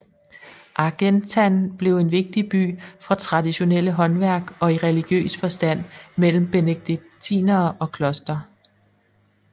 Argentan blev en vigtig by for traditionelle håndværk og i religiøs forstand med benediktinere og kloster